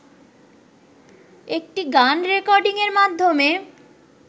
একটি গান রেকর্ডিংয়ের মাধ্যমে